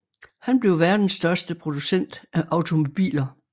Han blev verdens største producent af automobiler